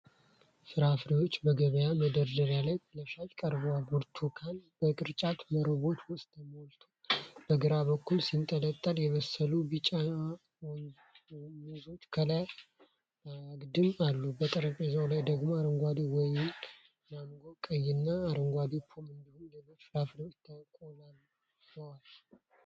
ፍራፍሬዎች በገበያ መደርደሪያ ላይ ለሽያጭ ቀርበዋል። ብርቱካን በቅርጫት መረቦች ውስጥ ተሞልቶ በግራ በኩል ሲንጠለጠል፣ የበሰሉ ቢጫ ሙዞች ከላይ በአግድም አሉ። በጠረጴዛው ላይ ደግሞ አረንጓዴ ወይን፣ ማንጎ፣ ቀይና አረንጓዴ ፖም እንዲሁም ሌሎች ፍራፍሬዎች ተቆልለዋል።